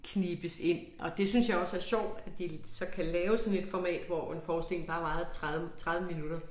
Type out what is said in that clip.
Knibes ind og det synes jeg også er sjovt at de så kan lave sådan et format hvor en forestilling bare varede 30 minutter